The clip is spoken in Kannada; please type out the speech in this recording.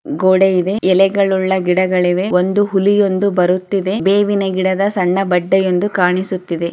ಗೂಡೆ ಇದೆ ಎಲೆಗಳುಳ್ಳ ಗಿಡಗಳಿವೆ ಒಂದು ಹುಲಿಯೊಂದು ಬರುತ್ತಿದೆ ಬೇವಿನ ಗಿಡದ್ ಸಣ್ಣ ಬಡ್ಡೆಯೊಂದು ಕಾಣಿಸುತ್ತಿದೆ